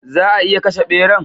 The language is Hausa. Za'a iya kashe ɓeran?